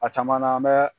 A caman na an bɛ